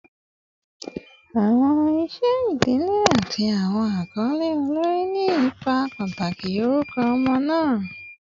Awọn iṣẹ idile ati awọn akọle olori ni ipa pataki orukọ ọmọ naa